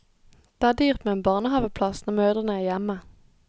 Det er dyrt med en barnehaveplass når mødrene er hjemme.